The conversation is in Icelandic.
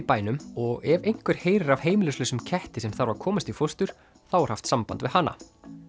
bænum og ef einhver heyrir af heimilislausum ketti sem þarf að komast í fóstur þá er haft samband við hana